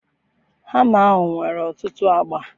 hama ahu nwere otutu agba